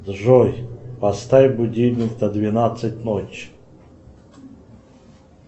джой поставь будильник на двенадцать ночи